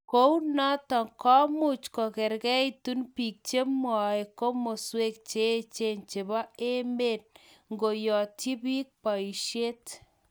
kunoto komuch kongeringitu biik chemwee komoswek cheechen chebo emet ngoyotyi biik boishet